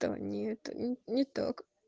нет не так